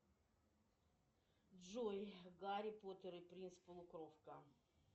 джой гарри поттер и принц полукровка